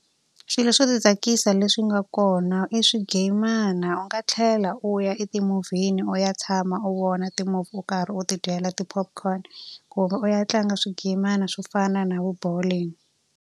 Swilo swo ti tsakisa leswi nga kona i swigayimana. U nga tlhela u ya eti-movie-ni u ya tshama u vona ti-movie u karhi u ti dyela ti-popcorn. Kumbe u ya tlanga swigayimana swo fana na vo bowling.